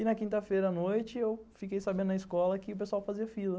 E na quinta-feira à noite eu fiquei sabendo na escola que o pessoal fazia fila.